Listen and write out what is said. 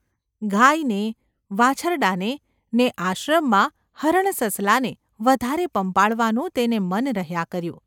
ગાયને, વાછરડાંને ને આશ્રમમાં હરણ સસલાને વધારે પંપાળવાનું તેને મન રહ્યા કર્યું.